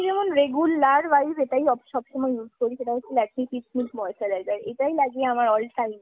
যেমন regular wise এটাই সবসময় use করি সেটা হচ্ছে Lakme peach milk moisturizer এটাই লাগিয়ে আমার all time